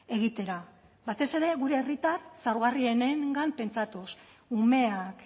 egitera batez ere gure herritar zaurgarrienengan pentsatuz umeak